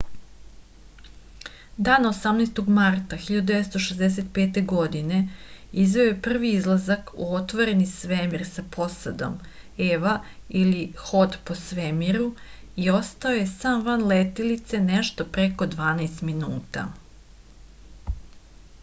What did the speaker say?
дана 18. марта 1965. године извео је први излазак у отворени свемир са посадом eva или ход по свемиру и остао је сам ван летелице нешто преко дванаест минута